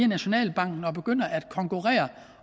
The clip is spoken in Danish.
nationalbanken og begynder at konkurrere